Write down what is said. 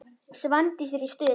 Svandís er í stuði.